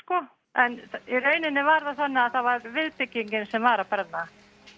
en í rauninn var það viðbyggingin sem var að brenna